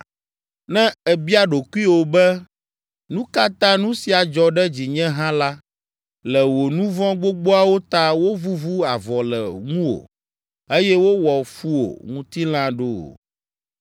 Ne èbia ɖokuiwò be, “Nu ka ta nu sia dzɔ ɖe dzinye hã la le wò nu vɔ̃ gbogboawo ta wovuvu avɔ le ŋuwò eye wowɔ fu wò ŋutilã ɖo?